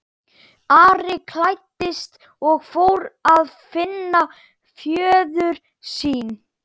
Ari klæddist og fór að finna föður sinn.